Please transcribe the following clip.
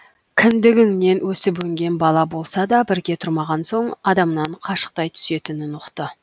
кіндігіңнен өсіп өнген бала болса да бірге тұрмаған соң адамнан қашықтай түсетінін ұқты